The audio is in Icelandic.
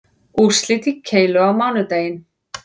Úrslit í keilu á mánudaginn